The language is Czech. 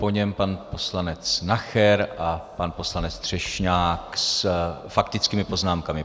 Po něm pan poslanec Nacher a pan poslanec Třešňák s faktickými poznámkami.